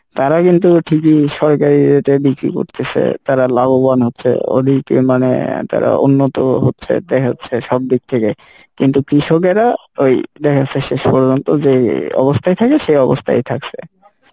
তারা কিন্তু ঠিকই সরকারির ইয়ে তে বিক্রি করতিছে তারা লাভবান হচ্ছে ওদিকে মানে তারা উন্নত হচ্ছে দেখা যাচ্ছে সব দিক থেকে কিন্তু কৃষকেরা এই দেখা যাচ্ছে শেষ পর্যন্ত যেই অবস্থায় থাকে সে অবস্থায় থাকসে